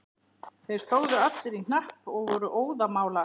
Þeir stóðu allir í hnapp og voru óðamála.